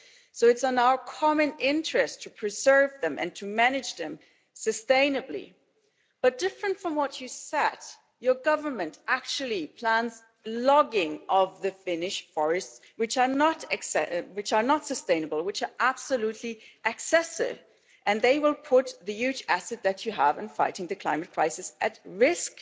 So it is in our common interest to preserve them, and to manage them sustainably but different from what you said your government actually plans logging of the Finnish forests, which are not sustainable, which are absolutely excessive, and they will put the huge asset that you have in fighting the climate crisis at risk.